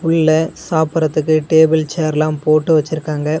உள்ள சாப்பிட்றதுக்கு டேபிள் சேர்லா போட்டு வச்சுருக்காங்க.